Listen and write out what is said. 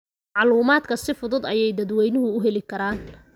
Macluumaadka si fudud ayay dadweynuhu u heli karaan.